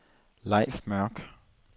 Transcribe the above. Leif Mørk